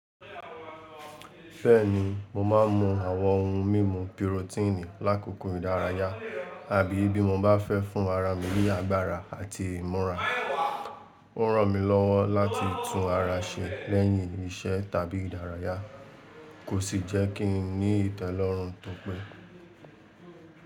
Beeni mo máà ń mu àwọn ohun mímu pirotíìnì lákòókò ìdárayá àbí bí mo bá fẹ́ fún araà mi ní agbára àti ìmúra. Ó ràn mí lọ́wọ́ láti tú ara ṣe lẹ́yìn iṣẹ́ tàbí ìdárayá, kò sì jẹ́ kí n ní ìtẹ́lọ́rùn tó pé.